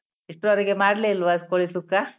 ಇಷ್ಟ್ರವರೆಗೆ ಮಾಡ್ಲೇ ಇಲ್ವಾ ಅದ್ ಕೋಳಿ ಸುಕ್ಕ?